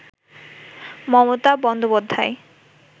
Mamata Bandyopadhyay